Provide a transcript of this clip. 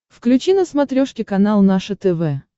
включи на смотрешке канал наше тв